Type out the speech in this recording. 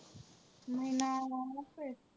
महिना व्हावा लागतोय.